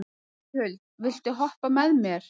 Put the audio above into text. Júlíhuld, viltu hoppa með mér?